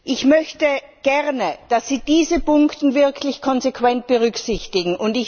Ich möchte gerne, dass Sie diese Punkte wirklich konsequent berücksichtigen.